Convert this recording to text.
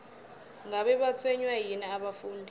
ngabe batshwenywa yini abafundi